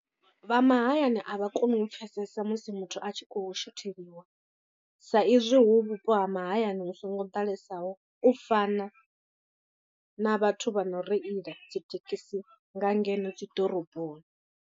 Vha mahayani a vha koni u pfhesesa musi muthu a tshi khou shotheliwa sa izwi hu vhupo ha mahayani hu songo ḓalesaho u fana na vhathu vha no reila dzi thekhisi nga ngeno dzi ḓoroboni.